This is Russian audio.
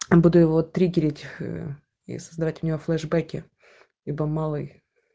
буду его триггерить ээ и создавать у него флешбеки либо малой